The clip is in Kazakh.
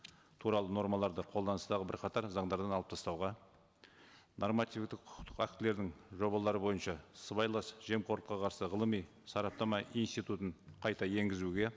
туралы нормаларды қолданыстағы бірқатар заңдардан алып тастауға нормативтік құқықтық актілерін жобалары бойынша сыбайлас жемқорлыққа қарсы ғылыми сараптама институтын қайта енгізуге